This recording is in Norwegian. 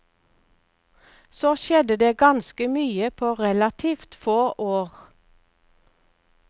Så skjedde det ganske mye på relativt få år.